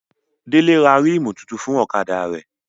Délé ra rímù tuntun fún ọ̀kadà rẹ̀